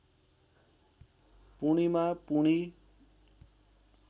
Purnima Poorni